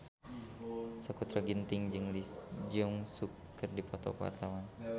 Sakutra Ginting jeung Lee Jeong Suk keur dipoto ku wartawan